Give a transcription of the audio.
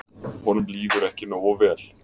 Honum líður ekki nógu vel.